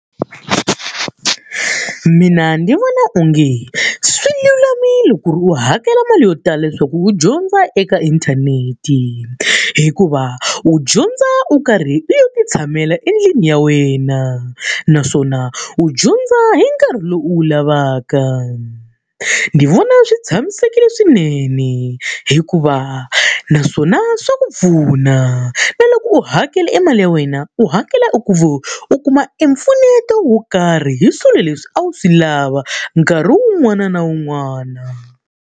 Mina ndzi vona onge swi lulamile ku ri u hakela mali yo tala leswaku u dyondza eka inthanete, hikuva u dyondza u karhi u lo titshamela endlwini ya wena. Naswona u dyondza hi nkarhi lowu u lavaka. Ni vona swi tshamisekile swinene hikuva, naswona swa ku pfuna. Na loko u hakela e mali ya wena, u hakela u ku u kuma e mpfuneto wo karhi hi swilo leswi a wu swi lava nkarhi wun'wana na wun'wana.